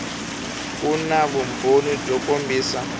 ku na vumbhoni byo kombisa